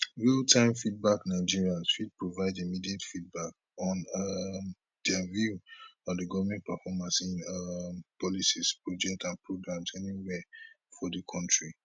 realtime feedbacknigerians fit provide immediate feedback on um dia view on di goment performance in um policies projects and programs anywia for di kontri